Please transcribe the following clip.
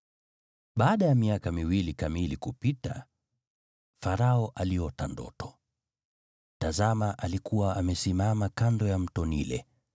Baada ya miaka miwili kamili kupita, Farao aliota ndoto: Tazama alikuwa amesimama kando ya Mto Naili,